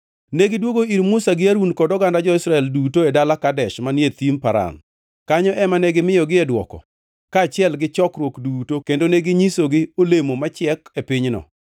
Negidwogo ir Musa gi Harun kod oganda jo-Israel duto e dala Kadesh manie Thim Paran. Kanyo ema ne gimiyogi dwoko kaachiel gi chokruok duto kendo neginyisogi olemo machiek e pinyno.